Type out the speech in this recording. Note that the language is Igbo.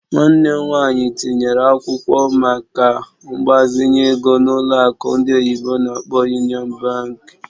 Nwanne m nwanyị tinyere akwụkwọ maka mgbazinye ego na ụlọ akụ ndị oyibo n'akpọ "Union Bank".